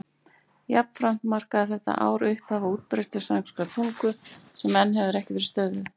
Jafnframt markaði þetta ár upphafið á útbreiðslu spænskrar tungu sem enn hefur ekki verið stöðvuð.